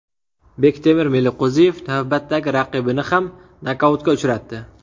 Bektemir Meliqo‘ziyev navbatdagi raqibini ham nokautga uchratdi .